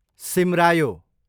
सिमरायो